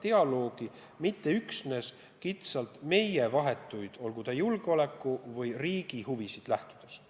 Ja seda mitte üksnes kitsalt meie vahetuid, olgu julgeoleku või riigi huvisid silmas pidades.